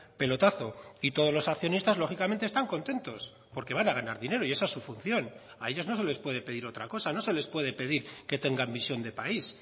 pelotazo y todos los accionistas lógicamente están contentos porque van a ganar dinero y esa es su función a ellos no se les puede pedir otra cosa no se les puede pedir que tengan visión de país